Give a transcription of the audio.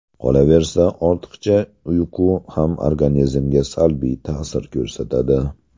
Qolaversa, ortiqcha uyqu ham organizmga salbiy ta’sir ko‘rsatadi.